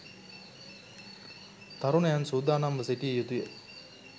තරුණයන් සූදානම්ව සිටිය යුතුය.